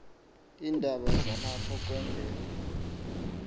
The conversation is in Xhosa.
iindaba zalapho kwendele